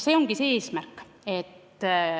See ongi see eesmärk.